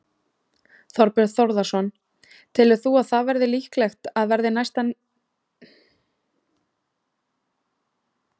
Þorbjörn Þórðarson: Telur þú að það verði líklegt að verði niðurstaðan á endanum?